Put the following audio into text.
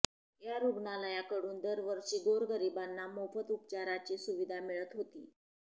या रुग्णालयाकडून दरवर्षी गोरगरिबांना मोफत उपचाराची सुविधा मिळत होती